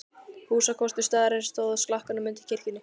Húsakostur staðarins stóð í slakkanum undir kirkjunni.